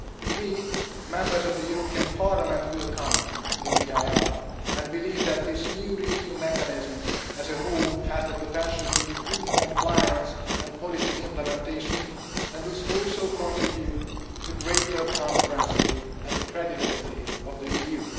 We, Members of the European Parliament, welcome the EIR and believe that this new review mechanism as a whole has the potential to improve compliance and policy implementation and thus also contribute to greater transparency and the credibility of the EU.